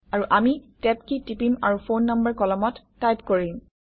আৰু আমি tab key টিপিম আৰু ফোন নাম্বাৰ কলমত টাইপ কৰিম